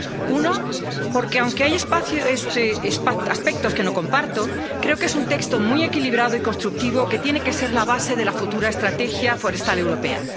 Uno, porque, aunque hay aspectos que no comparto, creo que es un texto muy equilibrado y constructivo que tiene que ser la base de la futura estrategia forestal europea.